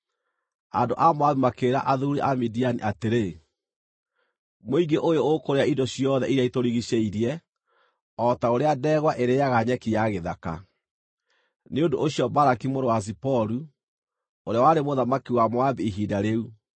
Andũ a Moabi makĩĩra athuuri a Midiani atĩrĩ, “Mũingĩ ũyũ ũkũrĩa indo ciothe iria itũrigiicĩirie, o ta ũrĩa ndegwa ĩrĩĩaga nyeki ya gĩthaka.” Nĩ ũndũ ũcio Balaki mũrũ wa Ziporu, ũrĩa warĩ mũthamaki wa Moabi ihinda rĩu,